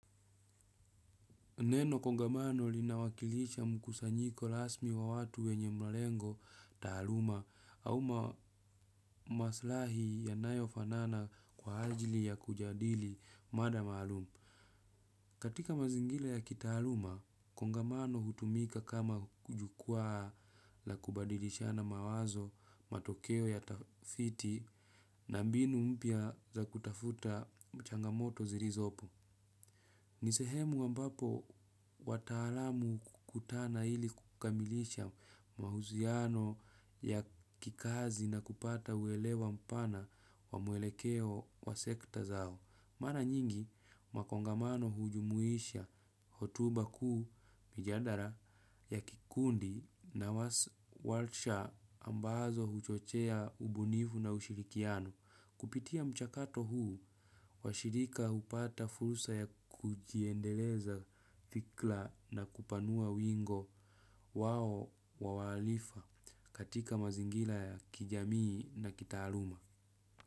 Neno kongamano linawakilisha mkusanyiko rasmi wa watu wenye malengo taaluma au maslahi yanayofanana kwa ajili ya kujadili mada maalumu. Katika mazingira ya kitaaluma, kongamano hutumika kama jukwaa la kubadilishana mawazo matokeo ya tafiti na mbinu mpya za kutafuta changamoto zilizopo. Ni sehemu ambapo wataalamu hukutana ili kukamilisha mahusiano ya kikazi na kupata uelewa mpana wa mwelekeo wa sekta zao. Mara nyingi makongamano hujumuisha hotuba kuu mijadara ya kikundi na walsha ambazo huchochea ubunifu na ushirikiano. Kupitia mchakato huu, washirika hupata fursa ya kujiendeleza fikira na kupanua wingo wao wahalifa katika mazingira ya kijamii na kitaaluma.